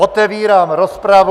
Otevírám rozpravu.